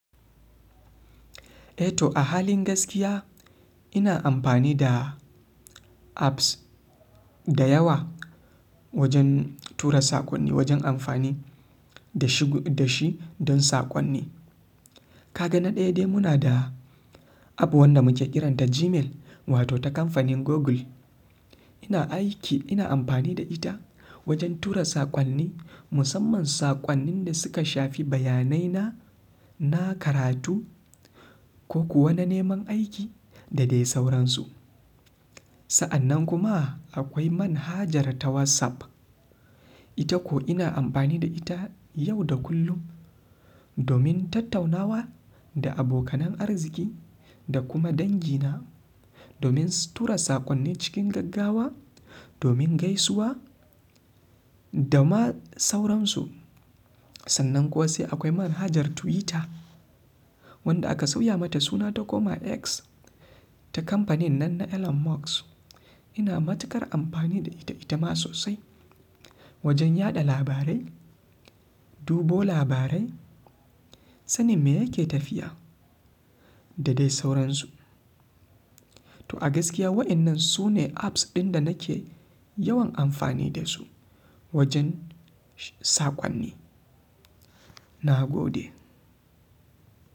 Eh to a halin gaskiya ina amfani da apps da yawa wajen tura saƙonni, wajen amfani da shi, da shi don saƙonni. Ka ga na ɗaya dai muna da app wanda muke kiranta Gmail wato ta kamfanin Google. Ina aiki, ina amfani da ita wajen tura saƙonni, musamman saƙonnin da suka shafi bayanai na, na karatu ko kuwa na neman aiki da dai sauransu. Sa'annan kuma akwai manhajar ta WhatsApp. Ita ko ina amfani da ita yau da kullum domin tattaunawa da abokanan arziki da kuma dangi na, domin tura saƙonni cikin gaggawa, domin gaisuwa da ma sauransu. Sannan kuwa sai akwai manhajar Twitter wanda aka sauya mata suna ta koma X ta kamfanin nan na Elon Musk. Ina matukar amfani da ita, ita ma sosai wajen yaɗa labarai, dubo labarai, sanin me yake tafiya da dai sauransu. To a gaskiya waɗannan su ne apps ɗin da nake yawan amfani da su wajen saƙonni. Na gode.